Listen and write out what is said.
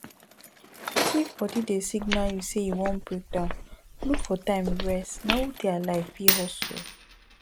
if body dey signal you sey e wan break down look for time rest na who dey alive fit hustle